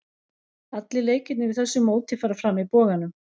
Allir leikirnir í þessu móti fara fram í Boganum.